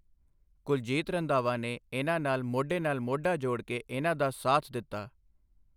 ਕੁਲਜੀਤ ਰੰਧਾਵਾ ਨੇ ਇਹਨਾਂ ਨਾਲ ਮੋਢੇ ਨਾਲ ਮੋਢਾ ਜੋੜ ਕੇ ਇਹਨਾਂ ਦਾ ਸਾਥ ਦਿੱਤਾ।